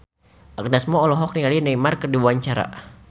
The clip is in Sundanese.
Agnes Mo olohok ningali Neymar keur diwawancara